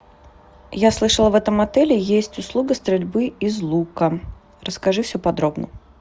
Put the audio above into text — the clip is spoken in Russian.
я слышала в этом отеле есть услуга стрельбы из лука расскажи все подробно